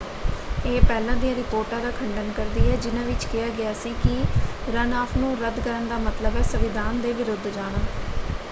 ਇਹ ਪਹਿਲਾਂ ਦੀਆਂ ਰਿਪੋਰਟਾਂ ਦਾ ਖੰਡਨ ਕਰਦੀ ਹੈ ਜਿਨ੍ਹਾਂ ਵਿੱਚ ਕਿਹਾ ਗਿਆ ਸੀ ਕਿ ਰਨਆਫ਼ ਨੂੰ ਰੱਦ ਕਰਨ ਦਾ ਮਤਲਬ ਹੈ ਸੰਵਿਧਾਨ ਦੇ ਵਿਰੁੱਧ ਜਾਣਾ।